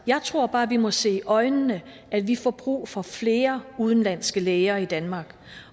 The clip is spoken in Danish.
jeg tror bare vi må se i øjnene at vi får brug for flere udenlandske læger i danmark